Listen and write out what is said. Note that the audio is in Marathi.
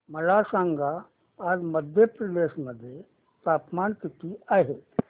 मला सांगा आज मध्य प्रदेश मध्ये तापमान किती आहे